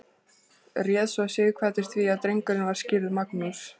réð svo sighvatur því að drengurinn var skírður magnús